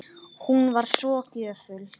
Hún var svo gjöful.